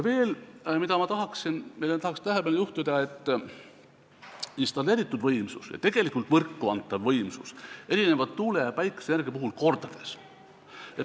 Veel tahan tähelepanu juhtida, et installeeritud võimsus ja tegelikult võrku antav võimsus erinevad tuule- ja päikeseenergia puhul mitu korda.